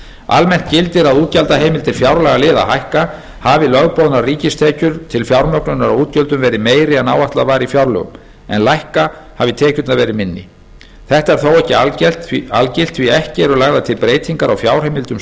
almennt gildir að útgjaldaheimildir fjárlagaliða hækka hafi lögboðnar ríkistekjur til fjármögnunar á útgjöldunum verið meiri en áætlað var í fjárlögum en lækka hafi tekjurnar verið minni þetta er þó ekki algilt því ekki eru lagðar til breytingar á fjárheimildum